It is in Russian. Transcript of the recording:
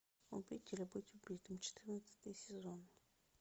убить или быть убитым четырнадцатый сезон